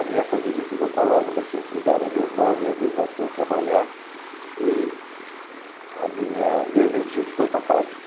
A minha família ficou com a loja, mas quem cuidava era meu irmão, minhas irmãs foram trabalhar e a minha aí meu tio ficou com a fábrica.